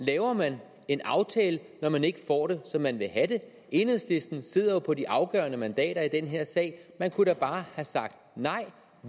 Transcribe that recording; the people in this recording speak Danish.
laver man en aftale når man ikke får det som man vil have det enhedslisten sidder jo på de afgørende mandater i den her sag man kunne da bare have sagt nej